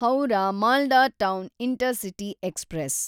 Howrah Malda town intercity express